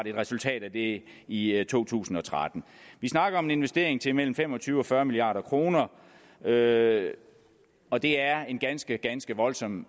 et resultat af det i i to tusind og tretten vi snakker om en investering til mellem fem og tyve og fyrre milliard kr og det er en ganske ganske voldsom